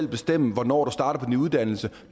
bestemme hvornår du starter på din uddannelse